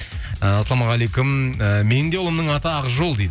ыыы ассалаумағалейкум ыыы менің де ұлымның аты ақжол дейді